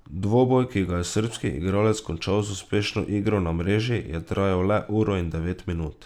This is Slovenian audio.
Dvoboj, ki ga je srbski igralec končal z uspešno igro na mreži, je trajal le uro in devet minut.